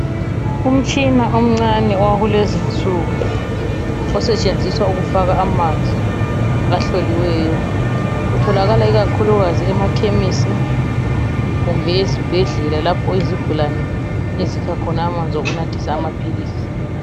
Umtshina omncane owakulezinsuku osetshenziswa ukufaka amanzi ahloliweyo. Utholakala ikakhulukazi emakhemisi kumbe ezibhedlela lapho izigulane ezikha khona amanzi okunathisa amaphilisi.